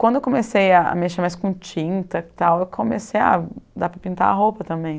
Quando eu comecei a mexer mais com tinta e tal, eu comecei a dar para pintar a roupa também.